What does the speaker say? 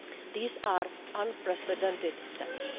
These are unprecedented steps.